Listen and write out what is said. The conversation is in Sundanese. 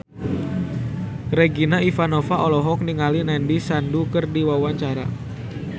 Regina Ivanova olohok ningali Nandish Sandhu keur diwawancara